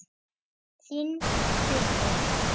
Þinn Haukur.